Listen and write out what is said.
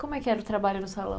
Como é que era o trabalho no salão?